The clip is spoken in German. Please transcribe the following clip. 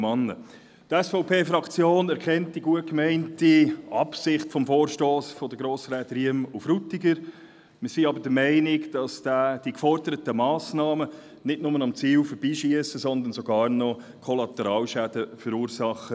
Die SVP-Fraktion anerkennt die gut gemeinte Absicht des Vorstosses der Grossräte Riem und Frutiger, doch schiessen die geforderten Massnahmen nicht nur am Ziel vorbei, sondern sie würden auch Kollateralschäden verursachen.